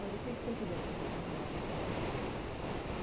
Mas o que você queria fazer com o jornalismo?